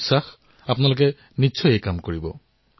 মোৰ বিশ্বাস যে আপোনালোকে নিশ্চিতভাৱে এই কামটো কৰিব